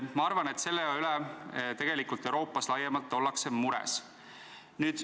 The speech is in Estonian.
Ma arvan, et selle pärast ollakse Euroopas laiemalt mures.